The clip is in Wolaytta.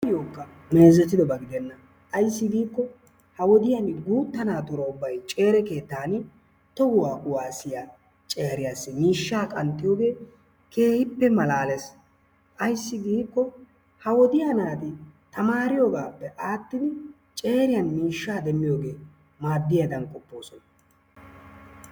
nuyookka meezzetiyooba gidenna ayssi giikko ha wodiyaan guutta naatura ubbay ceere keettan tohuwaa kuwaasiyaa ceeriyaassi mishshaa qanxxiyoogee keehippe malaalees. ayssi giikko ha wodiyaa naati tamariyoogappe adhidi ceeriyaan miishshaa demmiyoogee maaddiyaadan qopposoona.